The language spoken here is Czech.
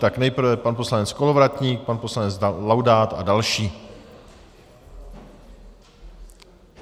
Tak nejprve pan poslanec Kolovratník, pan poslanec Laudát a další.